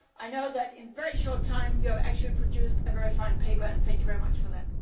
work. I know that in a very short time you have produced a very fine paper and thank you very much for that.